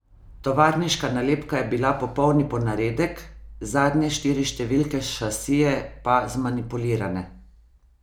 Tovarniška nalepka je bila popolni ponaredek, zadnje štiri številke šasije pa zmanipulirane.